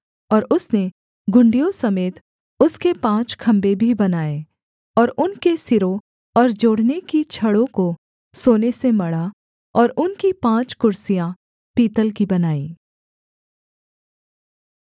और उसने घुंडियों समेत उसके पाँच खम्भे भी बनाए और उनके सिरों और जोड़ने की छड़ों को सोने से मढ़ा और उनकी पाँच कुर्सियाँ पीतल की बनाईं